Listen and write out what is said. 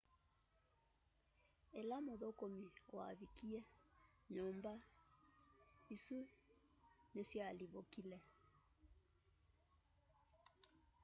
ĩla mũthũkũmi wavikie nyũmba isũ nĩsyalivukile